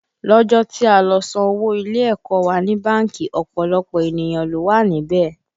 Lọ́jọ́ tí a lọ san owó ilé ẹ̀kọ́ ọ wa ní báńkì, ọ̀pọ̀lọpọ̀ ènìyàn ló wà níbẹ̀